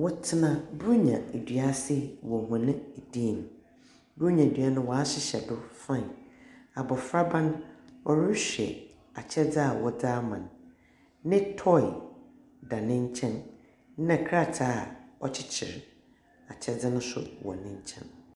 wɔtina bronya edua ase wɔ wɔne dem. Bronya dua no, wahyihyɛ do fain. Abɔfraba no, rehwɛ akyɛdi a wɔde ama no. Netɔi da nenkyɛn nna krataa ɔkyikyiri akyɛde no so wɔ nenkyɛn.